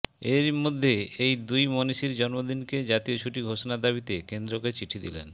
এরই মধ্যে এই দুই মণীষীর জন্মদিনকে জাতীয় ছুটি ঘোষণার দাবিতে কেন্দ্রকে চিঠি দিলেন